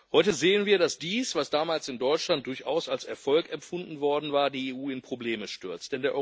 Heute sehen wir, dass dies, was damals in Deutschland durchaus als Erfolg empfunden worden war, die EU in Probleme stürzt.